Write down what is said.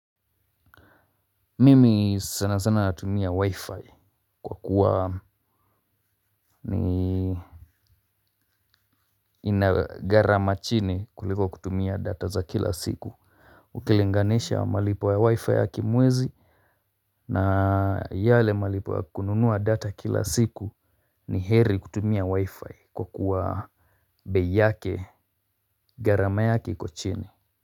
Mimi sana sana natumia wi-fi kwa kuwa ni ina gharama chini kuliko kutumia data za kila siku ukilinganisha malipo ya wi-fi ya kimwezi na yale malipo ya kununua data kila siku ni heri kutumia wi-fi kwa kuwa bei yake gharama yake iko chini.